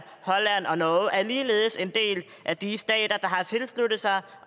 holland og norge er ligeledes en del af de stater har tilsluttet sig